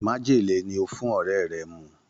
Májèlé ni ó fún ọ̀rẹ́ rẹ̀ mu.